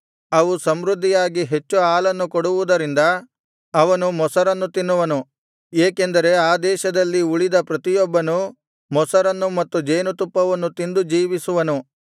ಅವು ಸಮೃದ್ಧಿಯಾಗಿ ಹೆಚ್ಚು ಹಾಲನ್ನು ಕೊಡುವುದರಿಂದ ಅವನು ಮೊಸರನ್ನು ತಿನ್ನುವನು ಏಕೆಂದರೆ ಆ ದೇಶದಲ್ಲಿ ಉಳಿದ ಪ್ರತಿಯೊಬ್ಬನೂ ಮೊಸರನ್ನು ಮತ್ತು ಜೇನುತುಪ್ಪವನ್ನು ತಿಂದು ಜೀವಿಸುವನು